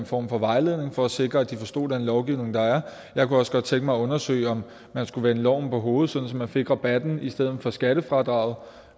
form for vejledning for at sikre at de forstår den lovgivning der er jeg kunne også godt tænke mig at undersøge om man skulle vende loven på hovedet sådan at man fik rabatten i stedet for skattefradraget